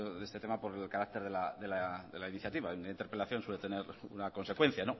de este tema por el carácter de la iniciativa una interpelación suele tener una consecuencia